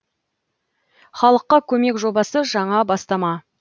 халыққа көмек жобасы жаңа бастама